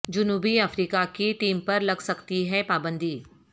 جنوبی افریقہ کی ٹیم پر لگ سکتی ہے پابندی